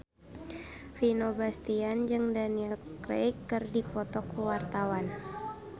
Vino Bastian jeung Daniel Craig keur dipoto ku wartawan